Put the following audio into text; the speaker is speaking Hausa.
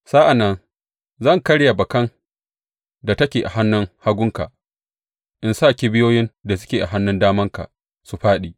Sa’an nan zan karya bakan da take a hannun hagunka, in sa kibiyoyin da suke a hannun damanka su fāɗi.